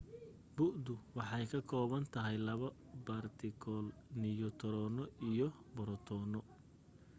bu'du waxay ka koobantahay laba baartikal-niyu taroono iyo borotoono